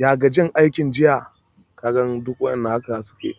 Ya gajin aikin jiya? Kaga duk wanda haka suke.